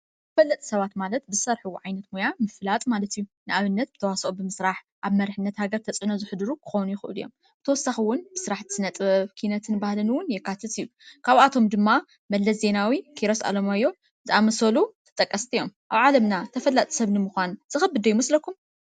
ተፈለጥቲ ሰባት ማለት ብዝሰርሕዎ ዓይነት ሞያ ምፍላጥ ማለት እዩ። ንኣብነት ተዋሰኦ ብምስራሕ ኣብ መሪሕነት ሃገር ተፅዕኖ ዘሕድሩ ክኾኑ ይኽእሉ እዮም። ብተወሳኪ እዉን ብስራሕቲ ስነጥበብ ኪነትን ባህልን እዉን የካትት እዩ ።ካባቶም ድማ መለስ ዜናዊ ፣ኪሮስ ኣለማዮህ ዝኣመሰሉ ተጠቀስቲ እዮም። ኣብ ዓለምና ተፈላጢ ሰብ ንምዃን ዝኸብድ ዶ ይመስለኩም?